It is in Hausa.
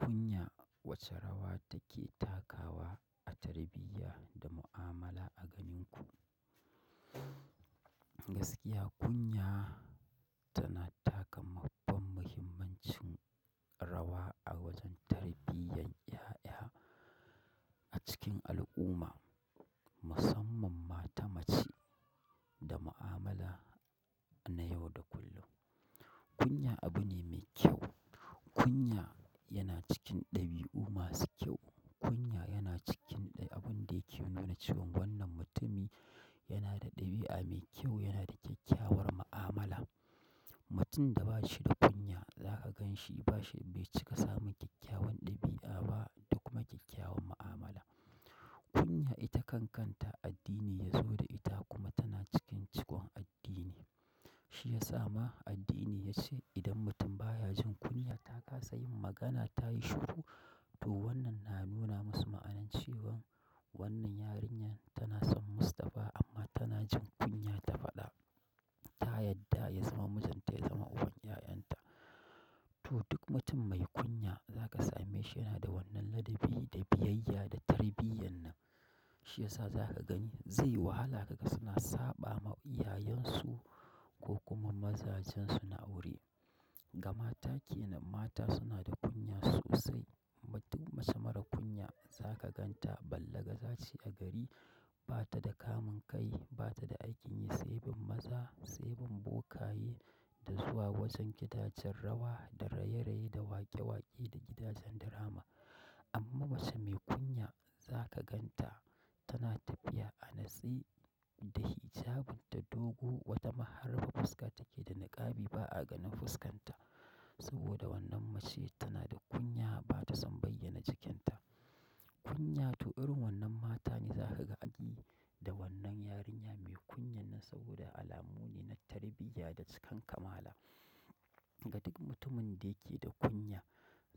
Kunya wace rawa take takawa a tarbiyya da mu'amala a ganin ku? Gaskiya kunya tana taka babban muhimmancin rawa a wajen tarbiyyan ƴaƴa a cikin al'umma, musamman mata mace da mu'amala na yau da kullum. Kunya abu ne mai kyau. Kunya yana cikin ɗabi'u masu kyau. Kunya yana cikin abun da yake nuna cewan wannan mutumi yana da ɗabi'a mai kyau, yana da kyakkyawar mu'amala. Mutum da ba shi da kunya zaka gan shi ba shi, bai cika samun kyakkyawan ɗabi'a ba da kuma kyakkyawan mu'amala. Kunya ita kan kanta addini ne saboda ita tana cikin cikin addini shiyasa ma addini yace idan mutum baya jin kunya takasa yin magana tayi shiru to wannna na nuna masu ma'anar cewa to wannna yarinya tana son mustapha amma kunya tahana ya faɗa ta yadda ya zama mijin ta, ya zama uban ƴa'ƴan ta. To duk mutum mai kunya zaka same shi yana da wannan ladabi da biyayya da tarbiyyan nan. Shi yasa za ka gani zai wahala ka ga suna saɓa ma iyayen su ko kuma mazajen su na aure. Ga mata ke nan mata suna da kunya sosai. Duk mace marar kunya zaka ganta ballagaza ce a gari ba ta da kamun kai, ba ta da aikin yi, sai bin maza, sai bin bokaye da zuwa wajen gidajen rawa da raye-raye da waƙe-waƙe da gidajen dirama. Amma mace mai kunya za ka gan ta tana tafiya a natse da hijabin ta dogo, wata mahar fuska take da niƙabi ba a ganin fuskanta. Saboda wannan mace tana da kunya ba ta son bayyana jikinta. Kunya to irin wannan mata ne za ka gani da wannan yarinya mai kunyan nan saboda alamu ne na tarbiyya da cikan kamala. Ga duk mutumin da yake da kunya